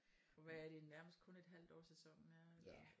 Og hvad er det nærmest kun et halvt år sæsonen er eller?